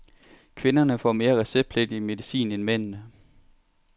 Kvinderne får mere receptpligtig medicin end mændene.